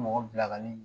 Mɔgɔ bila ka nin